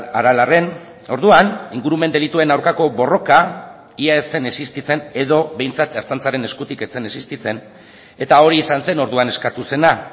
aralarren orduan ingurumen delituen aurkako borroka ia ez zen existitzen edo behintzat ertzaintzaren eskutik ez zen existitzen eta hori izan zen orduan eskatu zena